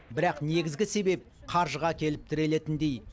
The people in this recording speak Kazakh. бірақ негізгі себеп қаржыға келіп тірелетіндей